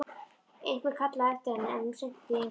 Einhver kallaði á eftir henni, en hún sinnti því engu.